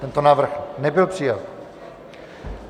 Tento návrh nebyl přijat.